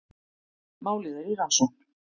Málið er í rannsókn